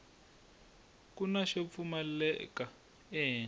kuna xo pfulela ehenhla